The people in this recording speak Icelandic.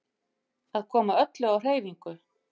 Að koma öllu á hreyfingu.